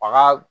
Bagan